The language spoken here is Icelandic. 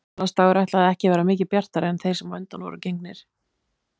Gamlársdagur ætlaði ekki að vera mikið bjartari en þeir sem á undan voru gengnir.